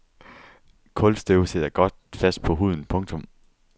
Kulstøv sidder godt fast på huden. punktum